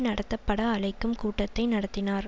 நடத்தப்பட அழைக்கும் கூட்டத்தை நடத்தினார்